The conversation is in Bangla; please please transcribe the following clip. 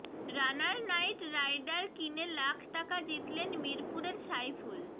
রানার নাইট রাইডার কিনে লাখ টাকা জিতলেন মিরপুরের সাইফুল